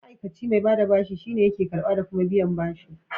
Ma'aikace mai bada bashi shine yake karɓa da kuma biyan bashi.